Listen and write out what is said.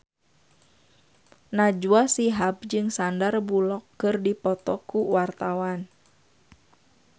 Najwa Shihab jeung Sandar Bullock keur dipoto ku wartawan